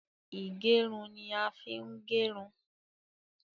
Ìgẹrun ni a ń fi ń gerun